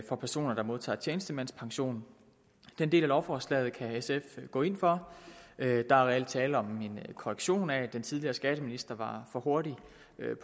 for personer der modtager tjenestemandspension den del af lovforslaget kan sf gå ind for der er reelt tale om en korrektion af at den tidligere skatteminister var for hurtig